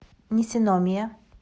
нисиномия